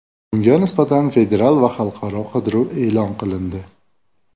Unga nisbatan federal va xalqaro qidiruv e’lon qilindi.